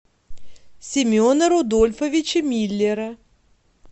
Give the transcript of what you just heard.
семена рудольфовича миллера